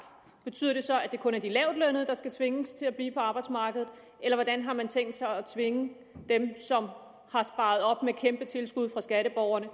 betyder det så at det kun er de lavtlønnede der skal tvinges til at blive på arbejdsmarkedet eller hvordan har man tænkt sig at tvinge dem som med kæmpe tilskud fra skatteborgerne